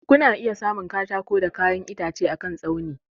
Kuna iya samun katako da kayan itace akan tsauni.